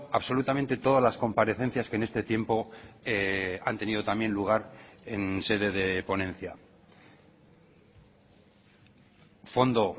absolutamente todas las comparecencias en este tiempo han tenido también lugar en sede de ponencia fondo